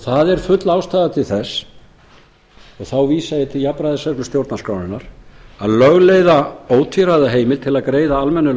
það er full ástæða til þess og þá vísa ég til jafnræðisreglu stjórnarskrárinnar að lögleiða ótvíræða heimild til að greiða almennu